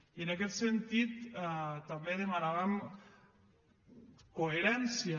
i en aquest sentit també demanàvem coherència